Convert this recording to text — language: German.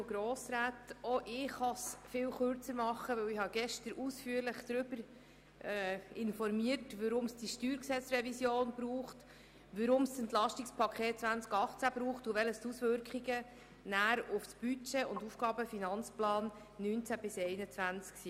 Auch ich kann mich kurz fassen, denn ich habe gestern ausführlich darüber informiert, weshalb es diese Steuergesetzrevision braucht, weshalb es das EP 2018 braucht und welches die Auswirkungen auf das Budget 2018 und auf den AFP 2019–2021 sind.